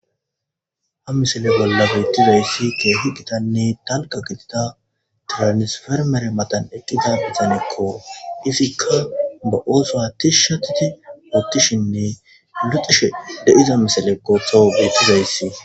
ha misale bollafeytizoyssi keehi gitanne talqa gitita tiranisfermere matan eqqiza izanekko izikka ba ooso hatih shatiti woottishinne luxishe deiza misalekko towo betizoyssi